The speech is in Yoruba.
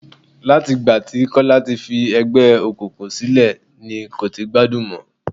Láti ìgbà tí Kọ́lá ti fi ẹgbẹ́ òkùnkùn sílẹ̀ ni kò ti gbádùn mọ.